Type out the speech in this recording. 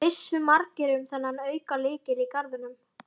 Vissu margir um þennan aukalykil í garðinum?